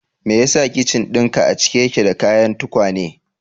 Me yasa kicin dinka a cike yake da kayan tukwane?